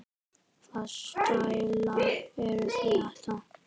Hvaða stælar eru þetta?